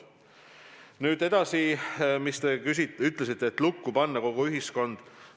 Nüüd edasi: te ütlesite, et kas tuleb panna kogu ühiskond lukku.